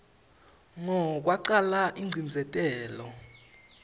ngo kwacala ingcindzetelo